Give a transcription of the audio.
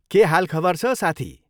के हाल खबर छ साथी?